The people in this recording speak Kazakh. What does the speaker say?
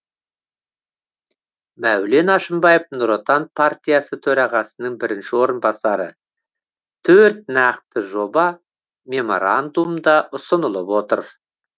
мәулен әшімбаев нұр отан партиясы төрағасының бірінші орынбасары төрт нақты жоба меморандумда ұсынылып отыр